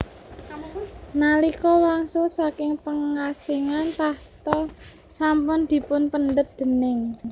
Nalika wangsul saking pengasingan tahta sampun dipunpendhet déning